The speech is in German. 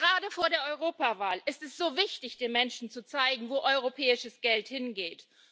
Und gerade vor der Europawahl ist es so wichtig, den Menschen zu zeigen, wo europäisches Geld hingeht.